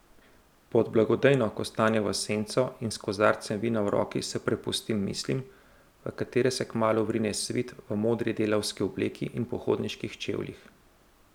Pod blagodejno kostanjevo senco in s kozarcem vina v roki se prepustim mislim, v katere se kmalu vrine Svit v modri delavski obleki in pohodniških čevljih.